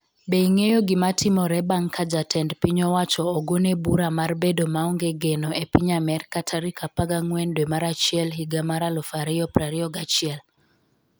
Be ing'eyo gimatimore bang' ka jatend piny owacho ogone bura mar bedo maonge geno e piny Amerka tarik 14 dwe mar achiel higa mar 2021?